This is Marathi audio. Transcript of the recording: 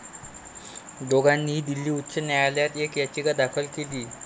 दोघांनीही दिल्ली उच्च न्यायालयात एक याचिका दाखल केलीये.